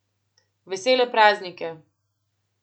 Vesele praznike.